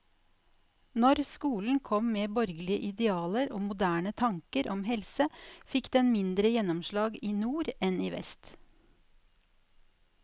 Når skolen kom med borgerlige idealer og moderne tanker om helse, fikk den mindre gjennomslag i nord enn i vest.